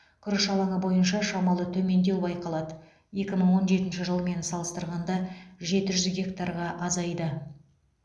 күріш алаңы бойынша шамалы төмендеу байқалады екі мың он жетінші жылмен салыстырғанда жеті жүз гектарға азайды